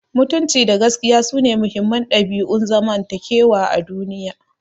Mutunci da gaskiya sune muhimman dabi'un zamantakewa a duniya.